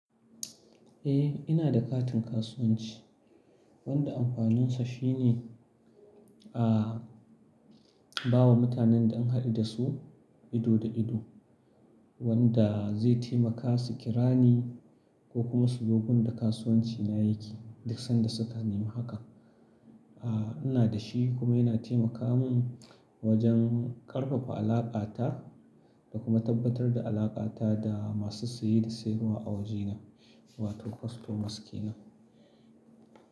Eh, ina da katin kasuwanci wanda amfaninsa shine, ba wa mutanen da an haɗu da su ido da ido, wanda zai taimaka su kirani ko kuma su zo wurin da kasuwanci na yake duk sanda su ka nema hakan. Ina da shi kuma yana taimaka mun wajen ƙarfafa alaƙata da kuma tabbatar da alaƙata da masu saye da sayarwa a wajena, wato customers ke nan.